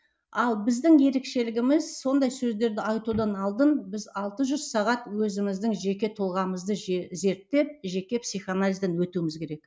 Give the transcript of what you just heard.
ал біздің ерекшелігіміз сондай сөздерді айтудан алдын біз алты жүз сағат өзіміздің жек тұлғамызды зерттеп жеке психоанализден өтуіміз керек